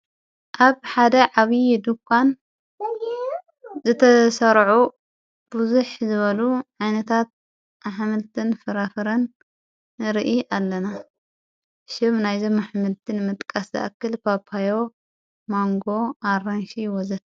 ኣብ ሓደ ዓብዪ ድኳን ዘተሠራዑ ብዙኅ ዝበሉ ዒነታት ኣሕምልትን ፍራፍረን ንርኢ ኣለና ሽብ ናይዘመሕምልትን መጥቃስ ዝኣክል ጳጳዮ ማንጎ ኣራንሽ ወዘተ።